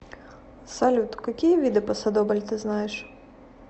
салют какие виды пасодобль ты знаешь